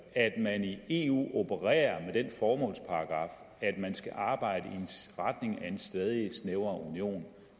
at man i eu opererer med den formålsparagraf at man skal arbejde i retning af en stadig snævrere union